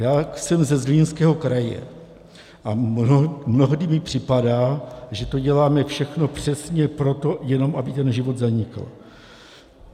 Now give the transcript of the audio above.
Já jsem ze Zlínského kraje a mnohdy mi připadá, že to děláme všechno přesně proto, jenom aby ten život zanikl.